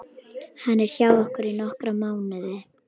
Hann er hjá okkur í nokkra mánuði.